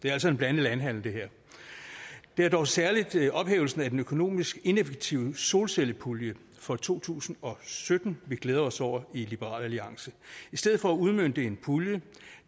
er altså en blandet landhandel det er dog særlig ophævelsen af den økonomisk ineffektive solcellepulje for to tusind og sytten vi glæder os over i liberal alliance i stedet for at udmønte en pulje